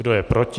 Kdo je proti?